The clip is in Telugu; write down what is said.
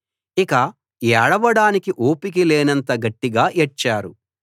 ఇక ఏడవడానికి ఓపిక లేనంత గట్టిగా ఏడ్చారు